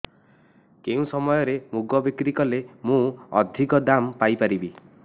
କେଉଁ ସମୟରେ ମୁଗ ବିକ୍ରି କଲେ ମୁଁ ଅଧିକ ଦାମ୍ ପାଇ ପାରିବି